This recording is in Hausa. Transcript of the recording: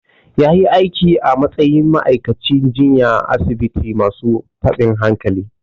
Ya yi aiki a matsayin ma'aikacin jinya a asibitin masu tabin hankali.